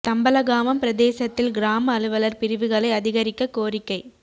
தம்பலகாமம் பிரதேசத்தில் கிராம அலுவலர் பிரிவுகளை அதிகரிக்கக் கோரிக்கை